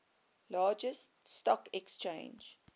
largest stock exchange